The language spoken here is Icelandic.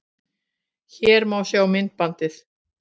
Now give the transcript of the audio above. Hér má sjá myndbandið